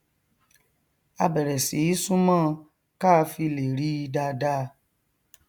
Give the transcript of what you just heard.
a bẹrẹ sí í súnmọ ọn káa fi lè ríi dáadáa